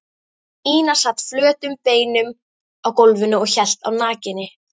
Ína sat flötum beinum á gólfinu og hélt á nakinni